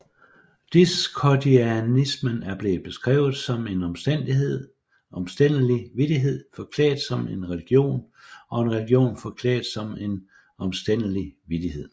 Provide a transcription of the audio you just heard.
Discordianismen er blevet beskrevet som en omstændelig vittighed forklædt som en religion og en religion forklædt som en omstændelig vittighed